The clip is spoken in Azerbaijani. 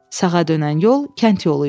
Sağa dönən yol kənd yolu idi.